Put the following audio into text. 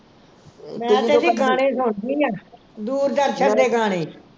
ਮੈਂ ਤੇ ਜੀ ਗਾਣੇ ਸੁਣਦੀ ਆ ਦੂਰਦਰਸ਼ਨ ਦੇ ਗਾਣੇ